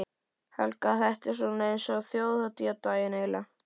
Helga: Þetta er svona eins og þjóðhátíðardagur, eiginlega?